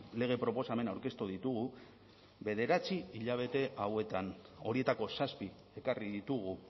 lege proposamena aurkeztu ditugu bederatzi hilabete hauetan horietako zazpi ekarri ditugu